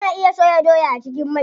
Ana iya soya doya a cikin mai.